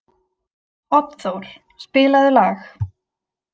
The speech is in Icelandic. Oddþór, spilaðu lag.